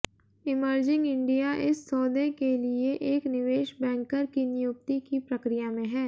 emerging India इस सौदे के लिए एक निवेश बैंकर की नियुक्ति की प्रक्रिया में है